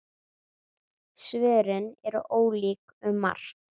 Svörin eru ólík um margt.